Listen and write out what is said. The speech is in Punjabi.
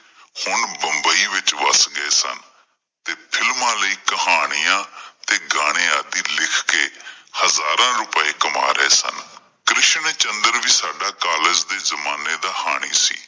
ਹੁਣ ਬੰਬਾਈ ਵਿੱਚ ਵੱਸ ਗਏ ਸਨ, ਤੇ films ਵਿੱਚ ਕਹਾਣੀਆਂ ਅਤੇ ਗਾਣੇਂ ਆਦਿ ਲਿਖ ਕਿ ਹਜ਼ਾਰਾਂ ਰੁਪਏ ਕਮਾ ਰਹੇ ਸਨ। ਕ੍ਰਿਸ਼ਨ ਚੰਦਰ ਵੀ ਸਾਡੇ college ਦੇ ਜ਼ਮਾਨੇ ਦਾ ਹਾਣੀ ਸੀ